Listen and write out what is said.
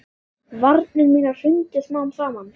Varnir mínar hrundu smám saman.